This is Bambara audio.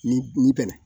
Ni ni bɛnna